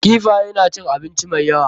Kifaye na cin abinci mai yawa.